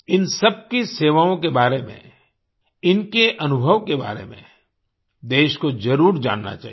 इन सबकी सेवाओं के बारे में इनके अनुभव के बारे में देश को जरुर जानना चाहिए